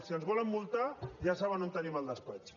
si ens volen mul·tar ja saben on tenim el despatx